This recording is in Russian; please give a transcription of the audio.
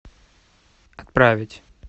отправить